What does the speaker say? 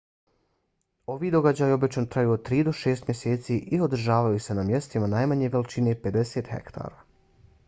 ovi događaji obično traju od tri do šest mjeseci i održavaju se na mjestima najmanje veličine 50 hektara